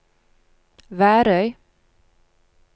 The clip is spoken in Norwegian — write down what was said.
Værøy